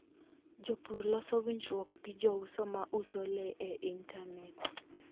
Jopur loso winjruok gi jouso ma uso le e intanet.